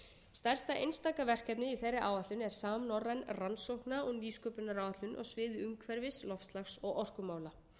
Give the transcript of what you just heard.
stærsta einstaka verkefnið í þeirri áætlun er samnorræn rannsókna og nýsköpunaráætlun á sviði umhverfis loftslags og orkumála